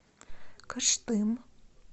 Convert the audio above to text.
кыштым